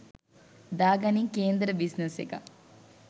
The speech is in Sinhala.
දා ගනින් කේන්දර බිස්නස් එකක්.